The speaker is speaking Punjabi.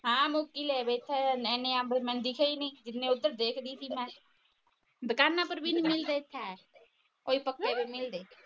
ਹਾਂ ਮੁੱਕ ਈ ਲੈ ਬੈਠਾ ਆ ਇਹਨੇ ਅੰਬ ਮੈਨੂੰ ਦਿਖੇ ਈ ਨਹੀਂ ਜਿੰਨੇ ਓਧਰ ਦੇਖਦੀ ਸੀ ਮੈ ਦੁਕਾਨਾਂ ਪਰ ਬੀ ਨਹੀਂ ਮਿਲਤੇ ਹੈ ਕੋਈ ਨਹੀਂ ਮਿਲਦੇ